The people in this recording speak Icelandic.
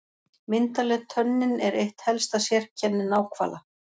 Myndarleg tönnin er eitt helsta sérkenni náhvala.